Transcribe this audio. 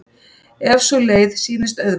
ef sú leið sýnist auðveldari.